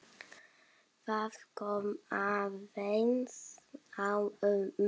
Það kom aðeins á mömmu.